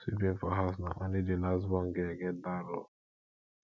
sweeping for house na only di last born girl get dat role